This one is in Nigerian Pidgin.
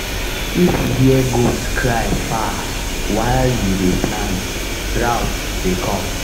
if you hear goat cry far while you dey plant drought dey come.